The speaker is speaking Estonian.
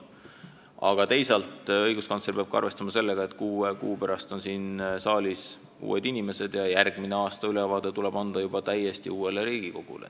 Samas peab õiguskantsler arvestama sellega, et kuue kuu pärast on siin saalis uued inimesed ja järgmine aastaülevaade tuleb anda juba täiesti uuele Riigikogule.